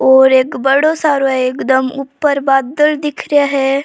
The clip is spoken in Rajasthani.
और एक बड़ो सारो एकदम ऊपर बादल दिख रेहा है।